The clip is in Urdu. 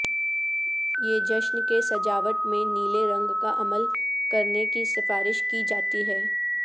یہ جشن کے سجاوٹ میں نیلے رنگ کا عمل کرنے کی سفارش کی جاتی ہے